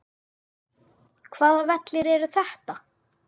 Hvaða vellir eru þetta?